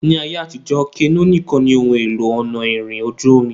Ni ayé àtijọ́, kenó nìkan ni ohun èlò ọ̀nà ìrìn ojú-omi